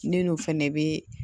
Ne n'o fɛnɛ bɛ